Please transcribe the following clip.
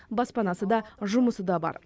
баспанасы да жұмысы да бар